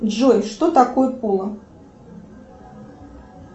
джой что такое поло